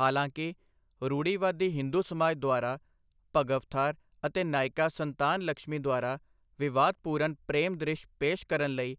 ਹਾਲਾਂਕਿ, ਰੂੜੀਵਾਦੀ ਹਿੰਦੂ ਸਮਾਜ ਦੁਆਰਾ ਭਗਵਥਾਰ ਅਤੇ ਨਾਇਕਾ ਸੰਤਾਨਲਕਸ਼ਮੀ ਦੁਆਰਾ ਵਿਵਾਦਪੂਰਨ ਪ੍ਰੇਮ ਦ੍ਰਿਸ਼ ਪੇਸ਼ ਕਰਨ ਲਈ